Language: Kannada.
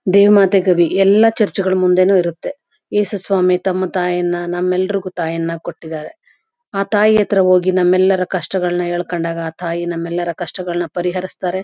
ದೇವ್ ಮಾತೆ ಕಭಿ ಎಲ್ಲ ಚರ್ಚ್ ಗಳು ಮುಂದೆನು ಇರುತ್ತೆ ಯೇಸು ಸ್ವಾಮಿ ತಮ್ಮ ತಾಯಿಯನ್ನ ನಮ್ಮ ಎಲರಿಗೂ ತಾಯಿಯನ್ನ ಕೊಟ್ಟಿದಾರೆ ಆ ತಾಯಿ ಅತ್ರ ಹೋಗಿ ನಮ್ಮ ಎಲರೂ ಕಷ್ಟಗಳ್ನ ಹೇಳ್ಕೊಂಡಾಗ ಆ ತಾಯಿ ನಮ್ಮ ಎಲ್ಲರ ಕಷ್ಟಗಳ್ನ ಪರಿಹರಿಸ್ತಾರೆ.